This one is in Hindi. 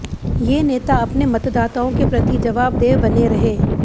ये नेता अपने मतदाताओं के प्रति जवाबदेह बने रहे